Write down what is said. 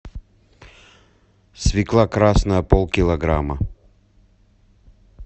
свекла красная пол килограмма